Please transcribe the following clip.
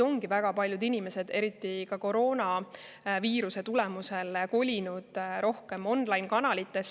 Väga paljud inimesed on eriti koroona mõjul kolinud rohkem online-kanalitesse.